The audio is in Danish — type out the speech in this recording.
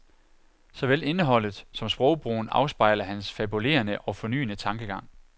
Såvel indholdet som sprogbrugen afspejler hans fabulerende og fornyende tankegang.